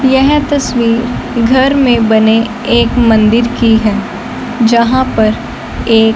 येह तस्वीर घर में बने एक मंदिर की है जहां पर ये--